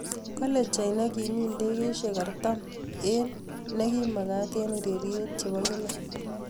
Kole China kimi ndegeishek artam eng ne kimagat eng ureryet chebo kila.